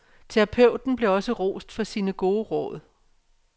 Terapeuten blev også rost for sine gode råd.